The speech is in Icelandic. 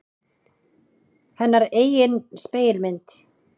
Hennar eigin spegilmynd.